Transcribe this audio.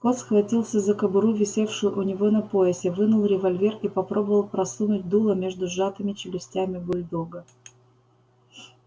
скотт схватился за кобуру висевшую у него на поясе вынул револьвер и попробовал просунуть дуло между сжатыми челюстями бульдога